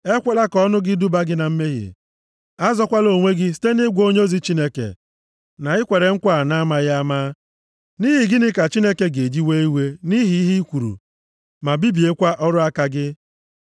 Ekwela ka ọnụ gị duba gị na mmehie. Azọkwala onwe gị site nʼịgwa onyeozi Chineke, “na i kwere nkwa a na-amaghị ama.” Nʼihi gịnị ka Chineke ga-eji wee iwe nʼihi ihe ị kwuru, ma bibiekwa ọrụ aka gị?